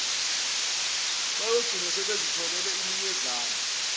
bayogcina sebezitholele iminyezane